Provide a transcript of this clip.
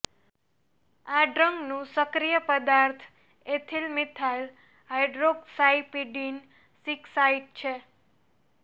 આ ડ્રગનું સક્રિય પદાર્થ એથિલ મિથાઈલ હાઇડ્રોક્સાઇપીડિન સિકસાઇંટ છે